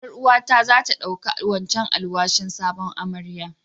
Yar uwa ta za ta ɗauka wancan alwashin sabon amarya.